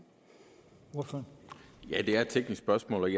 også et teknisk spørgsmål